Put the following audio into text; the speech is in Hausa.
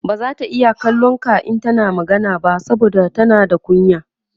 bazata iya kallon ka in tana magana ba saboda tana da kunya